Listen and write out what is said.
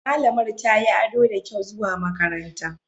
Malamar tayi ado da kyau zuwa makaranta.